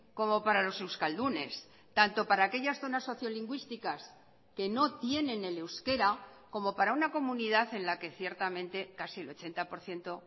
como para los euskaldunes tanto para aquellas zonas sociolingüísticas que no tienen el euskera como para una comunidad en la que ciertamente casi el ochenta por ciento